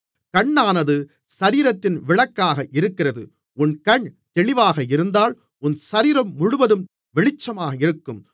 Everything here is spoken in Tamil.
கண்ணானது சரீரத்தின் விளக்காக இருக்கிறது உன் கண் தெளிவாக இருந்தால் உன் சரீரம் முழுவதும் வெளிச்சமாக இருக்கும்